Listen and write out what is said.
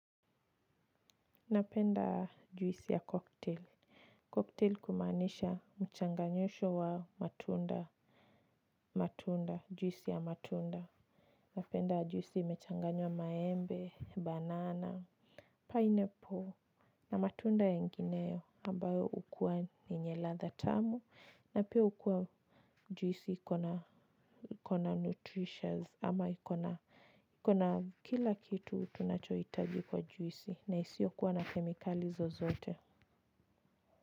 Napenda juisi ya cocktail cocktail kumanisha mchanganyisho wa matunda matunda juisi ya matunda. Napenda juisi imechanganywa maembe, banana Pineapple. Na matunda yengineyo ambayo hukua ni yenye ladha tamu na pia hukua. Juisi ikona ikona nutritious ama ikona ikona kila kitu tunachohitaji kwa juisi na isiyokuwa na kemikali zozote.